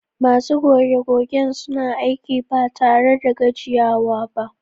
Masu goge-gogen suna aiki ba tare da gajiyawa ba